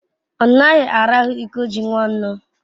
onaghi arahu iko ji nwannu